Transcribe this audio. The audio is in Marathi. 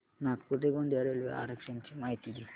नागपूर ते गोंदिया रेल्वे आरक्षण ची माहिती दे